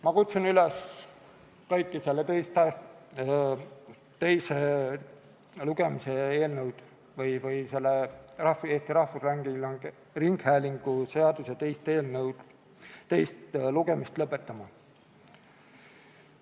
Ma kutsun kõiki üles Eesti Rahvusringhäälingu seaduse teist lugemist lõpetama.